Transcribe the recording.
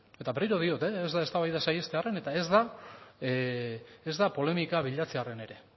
eta berriro diot ez da eztabaida saihestearren eta ez da polemika bilatzearren ere